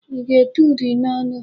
Ị ga-ete uri n'ọnụ!